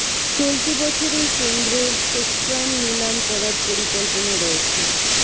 চলতি বছরেই কেন্দ্রের স্পেকট্রাম নিলাম করার পরিকল্পনা রয়েছে